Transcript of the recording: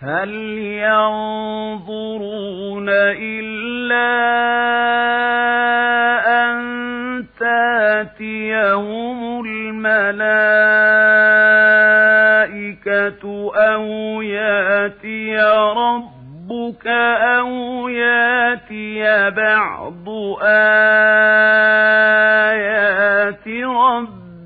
هَلْ يَنظُرُونَ إِلَّا أَن تَأْتِيَهُمُ الْمَلَائِكَةُ أَوْ يَأْتِيَ رَبُّكَ أَوْ يَأْتِيَ بَعْضُ آيَاتِ رَبِّكَ ۗ